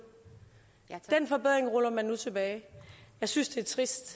den forbedring ruller man nu tilbage jeg synes det er trist